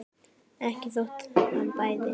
Ekki þótt hann bæði.